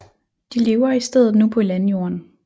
De lever i stedet nu på landjorden